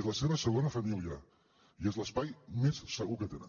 és la seva segona família i és l’espai més segur que tenen